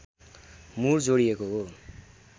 मुर जोडिएको हो